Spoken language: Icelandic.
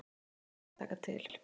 Hér þarf að taka til.